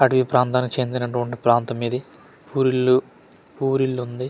అడవి ప్రాంతానికి చెందినటువంటి ప్రాంతం ఇది పూరిల్లు పూరిల్లుంది.